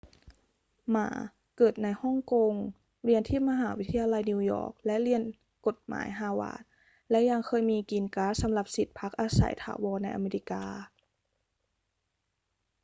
หม่า เกิดในฮ่องกง เรียนที่มหาวิทยาลัยนิวยอร์กและโรงเรียนกฎหมายฮาร์วาร์ด และยังเคยมี กรีนการ์ด สำหรับสิทธิ์พักอาศัยถาวรในอเมริกา